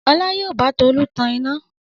Ọlá yóò bá Tolú tan iná.